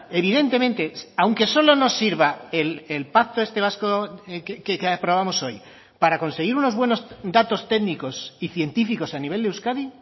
evidentemente aunque solo nos sirva el pacto este vasco que aprobamos hoy para conseguir unos buenos datos técnicos y científicos a nivel de euskadi